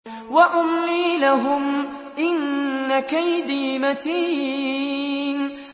وَأُمْلِي لَهُمْ ۚ إِنَّ كَيْدِي مَتِينٌ